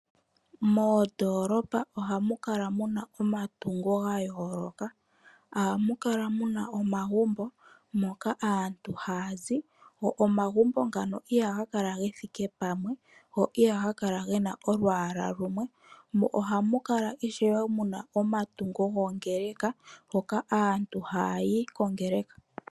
Moondoolopa ohamu kala muna omatungo ga yooloka. Ohamu kala muna omagumbo moka aantu haya zi, go omagumbo ngano ihaga kala ge thike pamwe, go ihaga kala gena olwaala lumwe, mo ohamu kala ishewe muna omatungo goongeleka hoka aantu haya yi kongeleka.